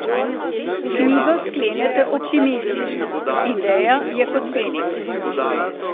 Knjigo sklenete optimistično: 'Ideja je kot Feniks.